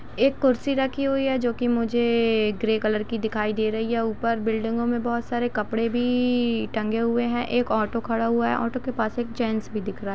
एक कुर्सी रखी हुई है जोकि मुझे ग्रे कलर की दिखाई दे रही है ऊपर बिल्डिंगो में बहुत सारे कपड़े भी टंगे हुए है एक ऑटो खड़ा हुआ है। ऑटो के पास एक जेंट्स भी दिख रहा--